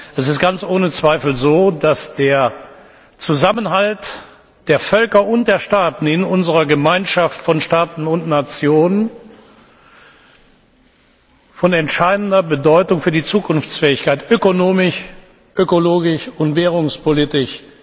Es ist ganz ohne Zweifel so, dass der Zusammenhalt der Völker und der Staaten in unserer Gemeinschaft von Staaten und Nationen von entscheidender Bedeutung für die Zukunftsfähigkeit ökonomisch, ökologisch und währungspolitisch